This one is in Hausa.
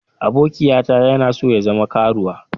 Abokiyata yana so ya zama karuwa.